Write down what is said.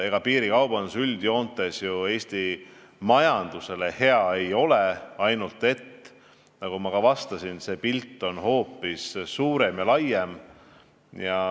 Ega piirikaubandus üldjoontes ju Eesti majandusele hea ei ole, ainult et, nagu ma ka vastasin, pilt on hoopis suurem ja laiem.